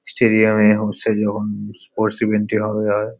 stadium এ এখন sports event -ই হবে হয়--